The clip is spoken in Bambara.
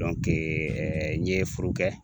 n ye foro kɛ